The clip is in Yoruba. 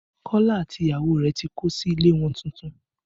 Kọ́lá àti ìyàwó rẹ̀ tí kó sí ilé wọn tuntun